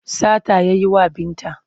Sata ya yi wa Binta.